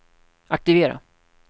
aktivera